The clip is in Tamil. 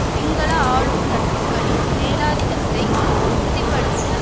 சிங்கள ஆளும் தட்டுக்களின் மேலாதிக்கத்தை உறுதி படுத்த